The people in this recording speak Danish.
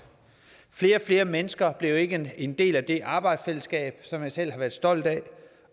flere og flere mennesker blev ikke en del af det arbejdsfællesskab som jeg selv har været stolt af